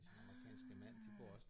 Ah